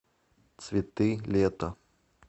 цветы лета